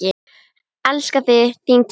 Elska þig, þín Tinna.